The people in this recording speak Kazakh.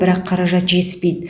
бірақ қаражат жетіспейді